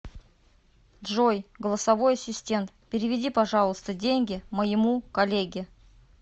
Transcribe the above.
джой голосовой ассистент переведи пожалуйста деньги моему коллеге